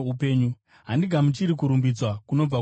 “Handigamuchiri kurumbidzwa kunobva kuvanhu,